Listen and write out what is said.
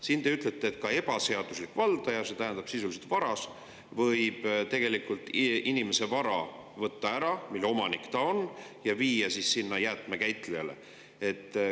Siin te ütlete, et ka ebaseaduslik valdaja, see tähendab sisuliselt varas, võib tegelikult võtta ära inimese vara, mille omanik ta on, ja viia jäätmekäitlejale.